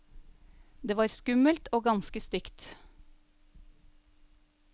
Det var skummelt, og ganske stygt.